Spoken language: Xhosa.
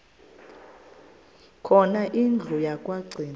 khona indlu yokagcina